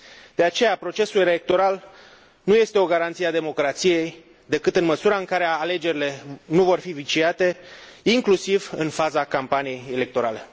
De aceea procesul electoral nu este o garanție a democrației, decât în măsura în care alegerile nu vor fi viciate, inclusiv în faza campaniei electorale.